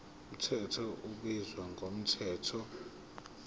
mthetho ubizwa ngomthetho